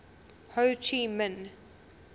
ho chi minh